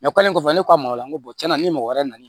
kɔfɛ ne ko a ma o la n ko tiɲɛna ni mɔgɔ wɛrɛ nana